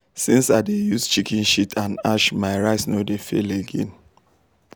since i dey use chicken shit and ash my rice no dey fail again.